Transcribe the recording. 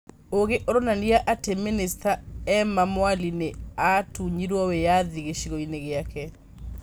Ũgĩ ũronania atĩ minista Emma Mwali nĩ 'aatunyirwo' wĩyathi gĩcigoĩni gĩake.